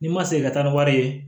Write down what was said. Ni ma segin ka taa ni wari ye